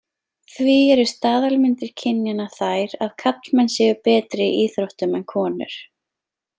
Því eru staðalmyndir kynjanna þær að karlmenn séu betri í íþróttum en konur.